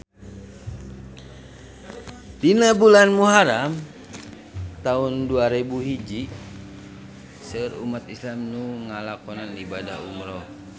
Dina bulan Muharam taun dua rebu hiji seueur umat islam nu ngalakonan ibadah umrah